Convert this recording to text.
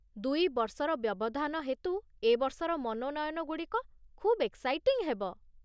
ଦୁଇ ବର୍ଷର ବ୍ୟବଧାନ ହେତୁ ଏ ବର୍ଷର ମନୋନୟନ ଗୁଡ଼ିକ ଖୁବ୍ ଏକ୍ସାଇଟିଂ ହେବ।